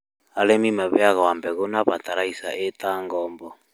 Arĩmĩ maheagwo mbegũ na bataraitha ĩ ta ngombo